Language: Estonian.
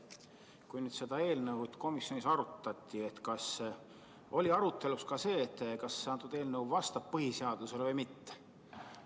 Kui seda eelnõu komisjonis arutati, siis kas oli arutelu all ka see, kas see eelnõu vastab põhiseadusele või ei vasta?